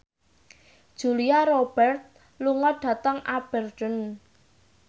Julia Robert lunga dhateng Aberdeen